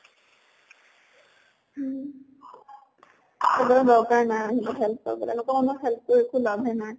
হুম। কোনো দৰ্কাৰ নাই সিহঁতক help কৰবলৈ। লোকৰ মানুহক help কৰি একো লাভে নাই।